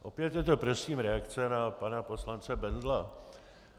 Opět je to prosím reakce na pana poslance Bendla.